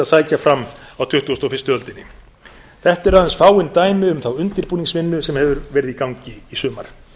sækja fram á tuttugustu og fyrstu öldinni þetta eru aðeins fáein dæmi um þá undirbúningsvinnu sem hefur verið í gangi í sumar